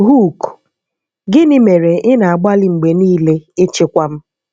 Hook: Gịnị mere ị na-agbalị mgbe niile ịchịkwa m?